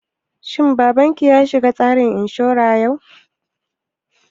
Shin babanki ya shiga tsarin inshura yau?